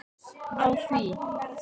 Á því